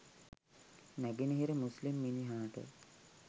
නැගනහිර මුස්ලිම් මිනිහාට